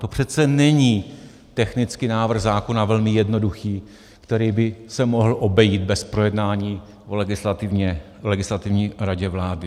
To přece není technický návrh zákona velmi jednoduchý, který by se mohl obejít bez projednání v Legislativní radě vlády.